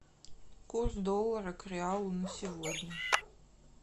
курс доллара к реалу на сегодня